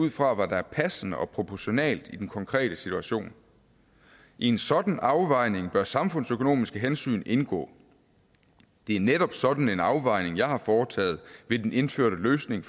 ud fra hvad der er passende og proportionalt i den konkrete situation i en sådan afvejning bør samfundsøkonomiske hensyn indgå det er netop sådan en afvejning jeg har foretaget ved den indførte løsning